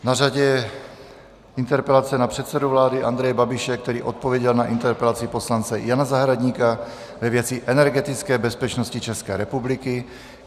Na řadě je interpelace na předsedu vlády Andreje Babiše, který odpověděl na interpelaci poslance Jana Zahradníka ve věci energetické bezpečnosti České republiky.